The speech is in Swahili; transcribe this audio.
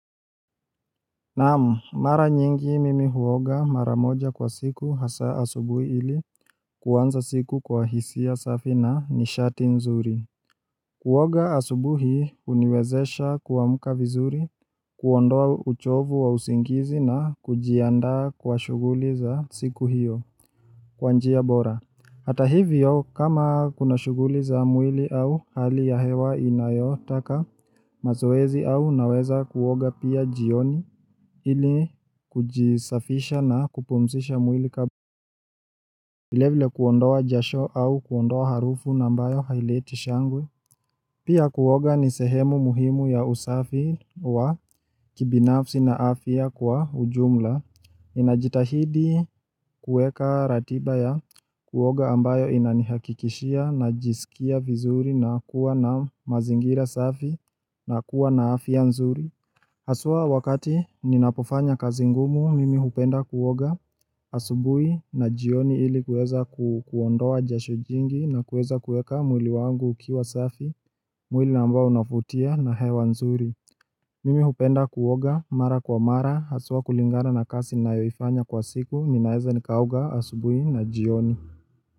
Naam, mara nyingi mimi huoga mara moja kwa siku hasa asubuhi ili kuwanza siku kwa hisia safi na nishati nzuri. Kuoga asubuhi huniwezesha kuamka vizuri, kuondoa uchovu wa usingizi na kujianda kwa shughuli za siku hiyo kwanjia bora. Hata hivyo, kama kuna shuguli za mwili au hali ya hewa inayotaka, mazoezi au naweza kuwoga pia jioni ili kujisafisha na kupumzisha mwili kabla. Vile vile huondoa jasho au kuondoa harufu nambayo hailiti shangwe Pia kuoga ni sehemu muhimu ya usafi wa kibinafsi na afya kwa ujumla Ninajitahidi kueka ratiba ya kuoga ambayo inanihakikishia na jisikia vizuri na kuwa na mazingira safi na kuwa na afya nzuri Haswa wakati ninapofanya kazi ngumu mimi hupenda kuoga asubui na jioni ili kueza kuondoa jasho jingi na kueza kueka mwili wangu ukiwa safi mwili ambao unavutia na hewa nzuri. Mimi hupenda kuoga mara kwa mara haswa kulingana na kazi nayoifanya kwa siku ninaeza nikaoga asubui na jioni.